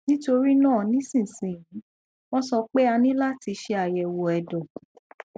nítorí náà nísinsìnyí wọn sọ pé a ní láti ṣe àyẹwò ẹdọ